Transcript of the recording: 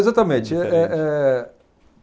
Exatamente. Eh eh